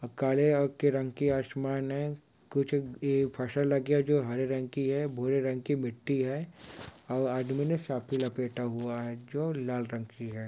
और काले की रंग की आसमान है कुछ इ फसल लगी है जो हरे रंग की है भूरे रंग की मिट्टी है और आदमी ने सफी लपेटा हुआ है जो लाल रंग की है।